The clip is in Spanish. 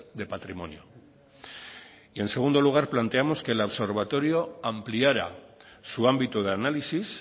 de patrimonio en segundo lugar planteamos que el observatorio ampliara su ámbito de análisis